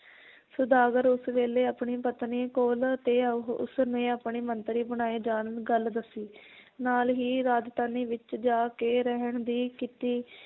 ਸੁਦਾਗਰ ਉਸ ਵੇਲੇ ਆਪਣੀ ਪਤਨੀ ਕੋਲ ਤੇ ਉਹ, ਉਸਨੇ ਆਪਣੇ ਮੰਤਰੀ ਬਣਾਏ ਜਾਣ ਗੱਲ ਦੱਸੀ ਨਾਲ ਹੀ ਰਾਜਧਾਨੀ ਵਿਚ ਜਾ ਕੇ ਰਹਿਣ ਦੀ ਕੀਤੀ